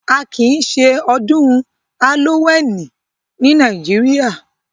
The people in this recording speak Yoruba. À kí ìṣẹ̀ Odùn Halloweeni ní Nàìjíríà